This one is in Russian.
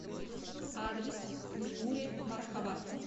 адрес миури мархаба